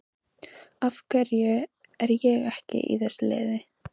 Af hverju er ég ekki í þessu liði?